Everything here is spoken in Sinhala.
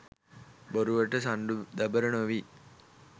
බොරුවට සණ්ඩු දබර නොවී.